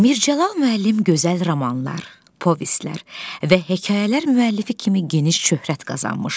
Mirzəcəlal müəllim gözəl romanlar, povestlər və hekayələr müəllifi kimi geniş şöhrət qazanmışdı.